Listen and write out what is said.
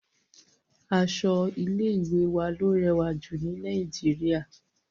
Aṣọ ilé ìwé wa ló rẹwà jù ní Nàìjíríà..